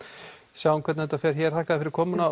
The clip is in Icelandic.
sjáum hvernig þetta fer hér takk fyrir komuna